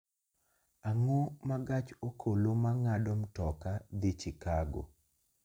Ang�o ma gach okoloma ng�ado mtoka dhi Chicago?